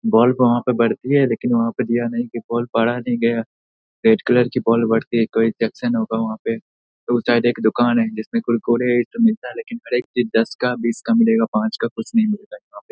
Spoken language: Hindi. बॉल वहाँ पे पड़ती है लेकिन वहाँ पे दिया नहीं कि बॉल पड़ा नहीं गया। रेड कलर की बॉल पड़ती है। कोई होगा वहाँ पे तो शायद एक दुकान है जिसमें कोई कुरकुरे इ सब मिलता है लेकिन हर एक चीज दस का बीस का मिलेगा पांच का कुछ नहीं मिलेगा वहाँ पे।